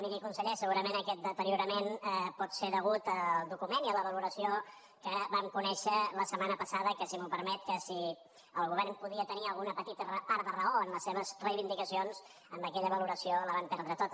miri conseller segurament aquest deteriorament pot ser degut al document i a la valoració que vam conèixer la setmana passada que si m’ho permet si el govern podia tenir alguna petita part de raó en les seves reivindicacions amb aquella valoració la van perdre tota